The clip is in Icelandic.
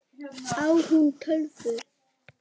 Á hún tölvu?